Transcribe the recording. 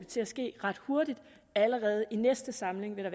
til at ske ret hurtigt allerede i næste samling vil